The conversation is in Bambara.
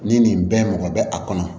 Ni nin bɛɛ mɔgɔ bɛ a kɔnɔ